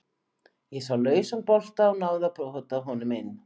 Ég sá lausan bolta og náði að pota honum inn.